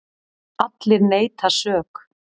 Allir neita sök.